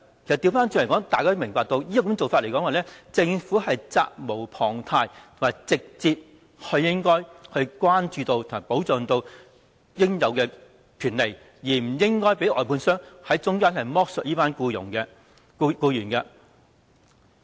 反過來說，大家都明白，政府責無旁貸，應該直接關注和保障員工應有的權利，不應該讓外判商在中間剝削這群僱員。